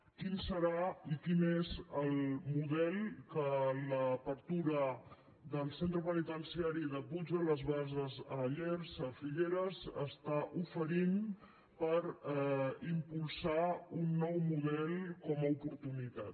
quin serà i quin és el model que l’apertura del centre penitenciari de puig de les basses a llers a figueres està oferint per impulsar un nou model com a oportunitat